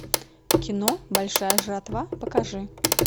кино большая жатва покажи